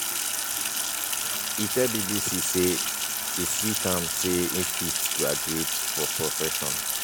e tell bbc say e sweet am say e fit graduate for profession